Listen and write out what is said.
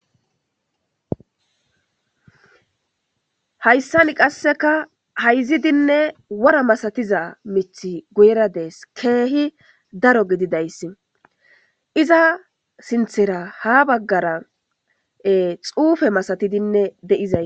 hayssan qasseka hayzidinne wora masatiza mith guyrades keehi daro gididayss iza sinthera ha baggara xuufe masatidinne deiza